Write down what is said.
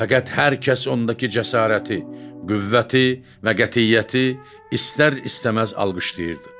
Fəqət hər kəs ondaki cəsarəti, qüvvəti və qətiyyəti istər-istəməz alqışlayırdı.